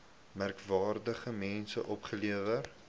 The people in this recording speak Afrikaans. merkwaardige mense opgelewer